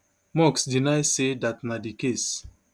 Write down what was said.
musk deny say dat na di case